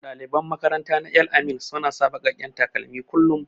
Daliban makaranta na El-amin suna sa bakaken takalmi kullum.